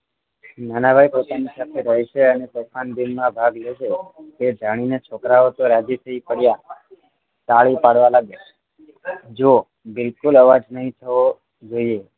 નાનાભાઈ પોતાની સાથે રહેશે અને તોફાન દિનમાં ભાગ લેશે એ જાણીને છોકરાઓ તો રાજી થઈ પડ્યા તાળી પાડવા લાગ્યા જુઓ બિલકુલ અવાજ નહીં થવો જોઈએ